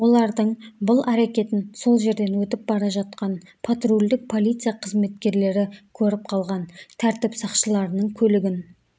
олардың бұл әрекетін сол жерден өтіп бара жатқан патрульдік полиция қызметкерлері көріп қалған тәртіп сақшыларының көлігін